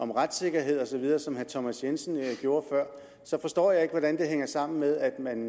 om retssikkerhed osv som herre thomas jensen gjorde før så forstår jeg ikke hvordan det hænger sammen med at man